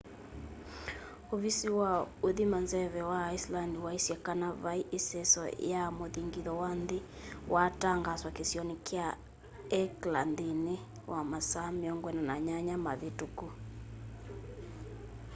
ũvisi wa ũthima nzeve wa iceland waĩsye kana vaĩ iseso ya muthingitho wa nthĩ waa tangaaswa kĩsionĩ kya hekla nthĩnĩ wa masaa 48 mavĩtũku